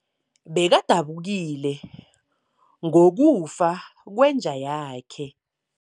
Bekadabukile ngokufa kwenja yakhe.